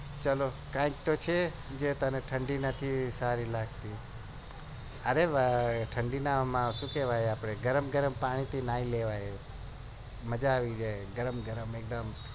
ચાલો કઈ તો છે જે ને ઠંડી સારી લગતી ઠંડી માં ગરમ ગરમ પાણી થી નાઈ લેવાનું મજા આવી જાય ગરમ ગરમ એકદમ